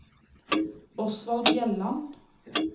Osvald Bjelland